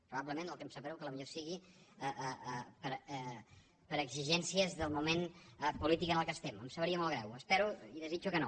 probablement el que em sap greu és que potser sigui per exigències del moment polític en què estem em sabria molt greu espero i desitjo que no